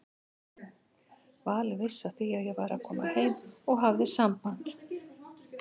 Valur vissi af því að ég væri að koma heim og hafði samband.